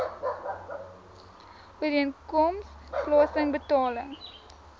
ooreenkoms plaasen betaling